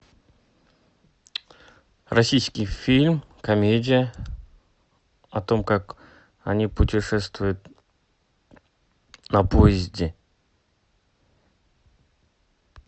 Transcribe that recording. российский фильм комедия о том как они путешествуют на поезде